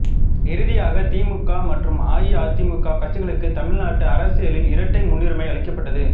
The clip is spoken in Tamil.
இறுதியாக திமுக மற்றும் அஇஅதிமுக கட்சிகளுக்கு தமிழ்நாட்டு அரசியலில் இரட்டை முன்னுரிமை அளிக்கப்பட்டது